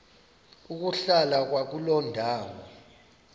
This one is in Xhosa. ukuhlala kwakuloo ndawo